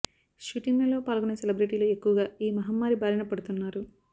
shooting లలో పాల్గొనే సెలబ్రిటీలు ఎక్కువగా ఈ మహమ్మారి బారిన పడుతున్నారు